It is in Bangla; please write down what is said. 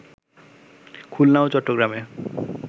খুলনা ও চট্রগ্রামে